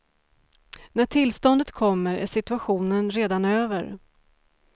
När tillståndet kommer är situationen redan över.